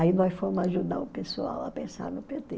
Aí nós fomos ajudar o pessoal a pensar no pê tê